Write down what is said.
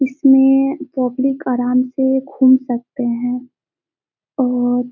इसमें पब्लिक आराम से घूम सकते हैं और--